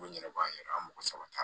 U ɲɛna baabu yɛrɛ an mɔgɔ saba t'an